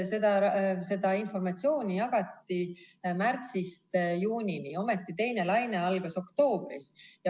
Seda informatsiooni jagati märtsist juunini ja ometi teine laine algas oktoobris.